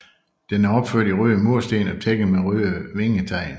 Den er opført i røde mursten og tækket med røde vingetegl